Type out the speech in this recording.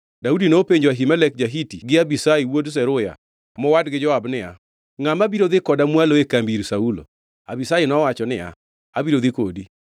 Daudi nopenjo Ahimelek ja-Hiti gi Abishai wuod Zeruya, mowadgi Joab niya, “Ngʼama biro dhi koda mwalo e kambi ir Saulo?” Abishai nowacho niya, “Abiro dhi kodi.”